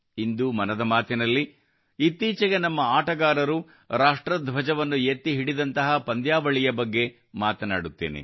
ಇಂದು ಮನದ ಮಾತು ನಲ್ಲಿ ಇತ್ತೀಚೆಗೆ ನಮ್ಮ ಆಟಗಾರರು ರಾಷ್ಟ್ರಧ್ವಜವನ್ನು ಎತ್ತಿ ಹಿಡಿದಂತಹ ಪಂದ್ಯಾವಳಿಯ ಬಗ್ಗೆ ಮಾತನಾಡುತ್ತೇನೆ